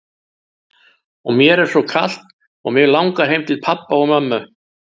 Og mér er svo kalt og mig langar heim til pabba og mömmu.